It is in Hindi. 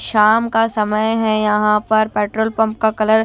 शाम का समय है यहां पर पेट्रोल पंप का कलर --